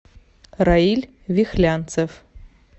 раиль вихлянцев